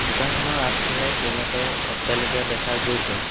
দোকানখনৰ আগফালে কেইবাটাও অট্টালিকা দেখা গৈছে।